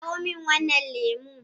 Kawo min wannan lemu.